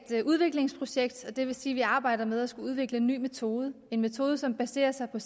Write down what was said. det er et udviklingsprojekt og det vil sige at vi arbejder med at skulle udvikle en ny metode en metode som baserer sig på